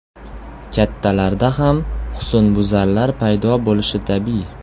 Kattalarda ham husnbuzarlar paydo bo‘lishi tabiiy.